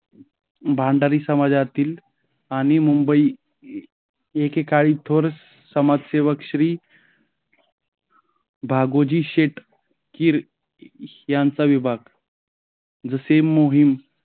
भंडारी समाजातील आणि मुंबई एकेकाळी थोर समाजसेवक श्री भागोजी शेठ किर यांचा विभाग जसे मोहीम